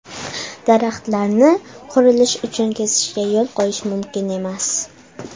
Daraxtlarni qurilish uchun kesishga yo‘l qo‘yish mumkin emas.